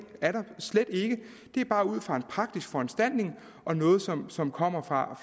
er der slet ikke det er bare ud fra en praktisk foranstaltning og noget som som kommer fra